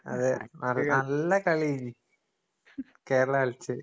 അതെ. നല്ല കളി. കേരള കളിച്ചത്.